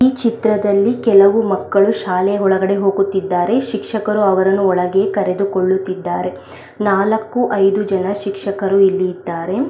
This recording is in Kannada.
ಈ ಚಿತ್ರದಲ್ಲಿ ಕೆಲವು ಮಕ್ಕಳು ಶಾಲೆಯ ಒಳಗಡೆ ಹೋಗುತ್ತಿದ್ದಾರೆ ಶಿಕ್ಷಕರು ಅವರನ್ನು ಒಳಗೆ ಕರೆದುಕೊಳ್ಳುತ್ತಿದ್ದಾರೆ ನಾಲಕ್ಕೂ ಐದು ಶಿಕ್ಷಕರು ಇಲ್ಲಿ ಇದ್ದಾರೆ.